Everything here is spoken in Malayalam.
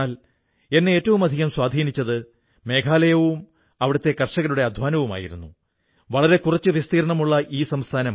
എന്നാൽ സുഹൃത്തുക്കേള അറിവിന്റെ പ്രസാരണത്തിൽ അപാരമായ സന്തോഷം കണ്ടെത്തുന്ന അനേക ആളുകൾ ഭാരതമെങ്ങും ഉണ്ടെന്നറിയുന്നതിൽ നിങ്ങൾക്ക് വളരെ സന്തോഷമുണ്ടാകും